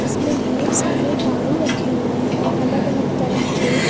इसमें ढेर सारे दारू रखे हुए हैं अलग अलग तरह के।